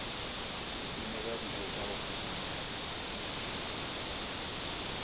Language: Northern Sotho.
isphine ka dijotša go humanega